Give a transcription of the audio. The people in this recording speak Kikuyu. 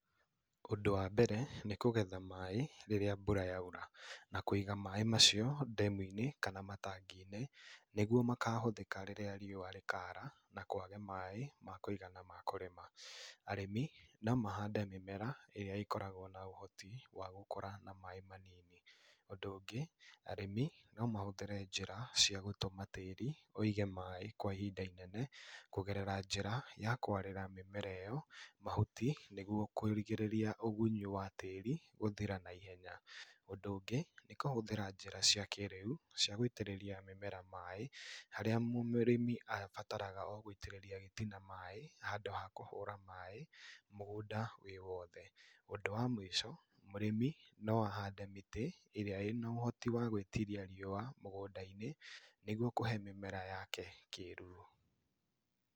Ũndũ wa mbere nĩ kũgetha maĩĩ rĩrĩa mbura yaura na kũiga maĩĩ macio dam kana matangi-inĩ nĩguo makahũthĩka rĩrĩa riũa rĩkara na kwage maĩĩ ma kũigana ma kũrĩma. Arĩmi no mahande mĩmera ĩrĩa ĩkoragwo na ũhoti wa gũkũra na maĩĩ manini. Ũndũ ũngĩ, arĩmi no mahũthĩre njĩra cia gũtũma tĩĩri ũige maĩĩ kwa ihinda inene kũgerera njĩra ya kwarĩra mĩmera ĩyo mahuti nĩguo kũrigĩrĩria ugunyu wa tĩĩri gũthira naihenya. Ũndũ ũngĩ nĩ kũhũthĩra njĩra cia kĩrĩu cia gũitĩrĩria mũmera maĩĩ, harĩa mũrĩmi abataraga o gũitĩrĩria o gĩtina maĩĩ handũ ha kũhũra maĩĩ mũgũnda wĩ wothe. Ũndũ wa mũico, mũrĩmi no ahande mĩtĩ ĩrĩa ĩna ũhoti wa gwĩtiria riũa mũgũnda-inĩ nĩguo kũhe mĩmera yake kĩruru.